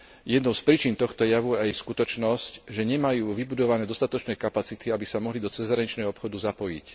Jednou z príčin tohto javu aj je skutočnosť, že nemajú vybudované dostatočné kapacity, aby sa mohli do cezhraničného obchodu zapojiť.